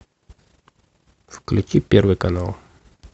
включи первый канал